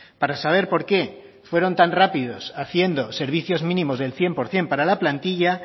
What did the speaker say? para saber por qué fueron tan rápidos haciendo servicios mínimos del cien por ciento para la plantilla